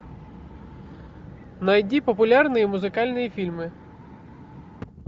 найди популярные музыкальные фильмы